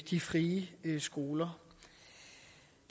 de frie skoler